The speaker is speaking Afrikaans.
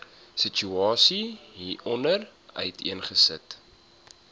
situasie hieronder uiteengesit